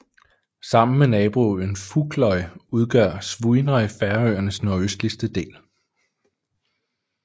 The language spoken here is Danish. Sammen med naboøen Fugloy udgør Svínoy Færøernes nordøstligste del